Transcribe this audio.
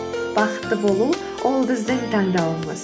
бақытты болу ол біздің таңдауымыз